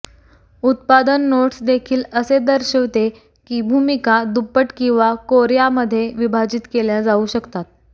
उत्पादन नोट्स देखील असे दर्शविते की भूमिका दुप्पट किंवा कोर्यामध्ये विभाजित केल्या जाऊ शकतात